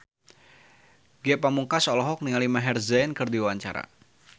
Ge Pamungkas olohok ningali Maher Zein keur diwawancara